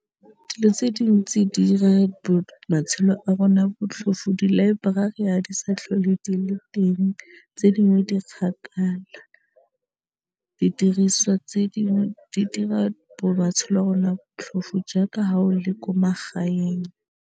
Dilo tse dintsi di 'ira matshelo a rona botlhofo di-library ha di sa tlhole di le teng tse dingwe di kgakala, didiriswa tse dingwe di dira matshelo a rona botlhofo jaaka ha o le ko magaeng.